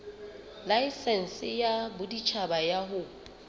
laesense ya boditjhaba ya ho